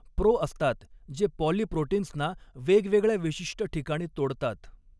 Pro असतात, जे पॉलीप्रोटीन्सना वेगवेगळ्या विशिष्ट ठिकाणी तोडतात.